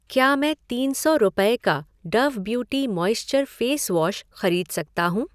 क्या मैं तीन सौ रुपये का Dove beauty moisture face wash खरीद सकता हूँ?